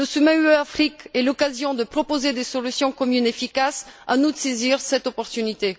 Le sommet UE Afrique est l'occasion de proposer des solutions communes efficaces, à nous de saisir cette opportunité.